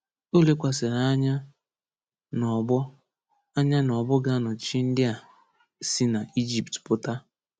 O lekwasịrị anya n’ọgbọ anya n’ọgbọ ga-anọchi ndị a si n’Ijipt pụta.